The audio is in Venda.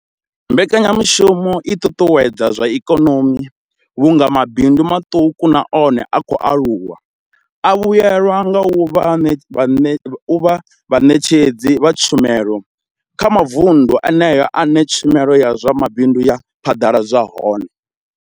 Mbekanyamushumo i ṱuṱuwedza zwa ikonomi vhunga mabindu maṱuku na one a khou aluwa a vhuelwa nga u vha vhaṋetshedzi vha tshumelo kha mavundu eneyo ane tshumelo ya zwa mabindu ya phaḓaladzwa hone.